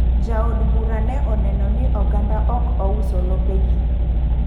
Ja od bura ne oneno ni oganda ok ouso lope gi.